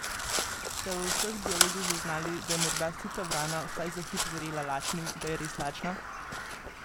Ste v vseh dialogih zaznali, da je morda sita vrana vsaj za hip verjela lačni, da je res lačna?